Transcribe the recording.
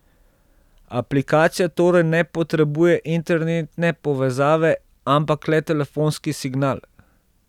Aplikacija torej ne potrebuje internetne povezave, ampak le telefonski signal.